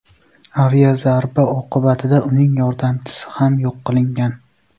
Aviazarba oqibatida uning yordamchisi ham yo‘q qilingan.